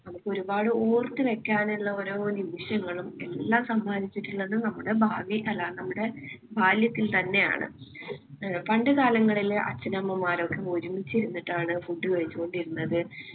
നമുക്ക് ഒരുപാട് ഓർത്തുവയ്ക്കാനുള്ള ഓരോ നിമിഷങ്ങളും എല്ലാം സമ്മാനിച്ചിട്ടുള്ളത് നമ്മുടെ ഭാവി അല്ല നമ്മുടെ ബാല്യത്തിൽ തന്നെയാണ്. പണ്ടുകാലങ്ങളിലെ അച്ഛനമ്മമാരൊക്കെ ഒരുമിച്ചിരുന്നിട്ടാണ് food കഴിച്ചു കൊണ്ടിരുന്നത്.